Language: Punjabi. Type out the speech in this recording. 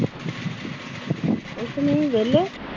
ਕੁਛ ਨੀ ਵਿਹਲੇ।